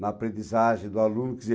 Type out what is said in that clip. na aprendizagem do aluno, quer dizer,